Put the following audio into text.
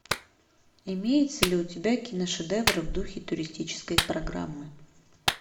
имеется ли у тебя киношедевр в духе туристической программы